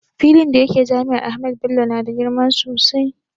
Filin da yake jami'ar Ahmadu Bello na da girma sosai